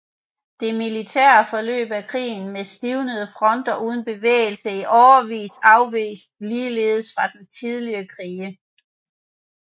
Det militære forløb af krigen med stivnede fronter uden bevægelse i årevis afveg ligeledes fra tidligere krige